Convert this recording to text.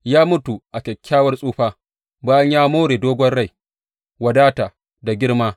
Ya mutu a kyakkyawar tsufa, bayan ya more dogon rai, wadata da girma.